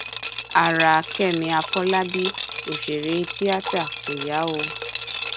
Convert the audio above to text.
ara kẹmi àfọlábí òṣèré tíátà kò yá o